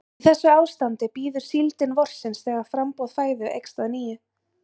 Í þessu ástandi bíður síldin vorsins þegar framboð fæðu eykst að nýju.